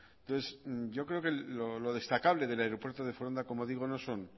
entonces yo creo que lo destacable del aeropuerto de foronda como digo no son